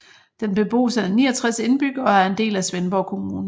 Den bebos af 69 indbyggere og er en del af Svendborg Kommune